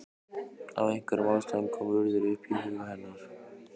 Af einhverjum ástæðum kom Urður upp í huga hennar.